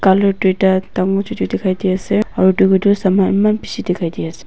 colour duita dangor chotu dekhai di ase aro doiku tu saman eman bishi dekhai diya as--